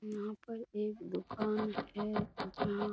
यहाँ पर एक दुकान है जहां --